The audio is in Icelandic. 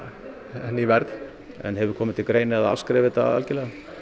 henni í verð en hefur komið til greina að afskrifa þetta algerlega